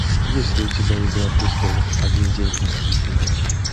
есть ли у тебя игра престолов один день из жизни